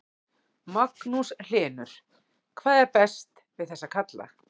Magnús Hlynur: Hvað er best við þessa kalla?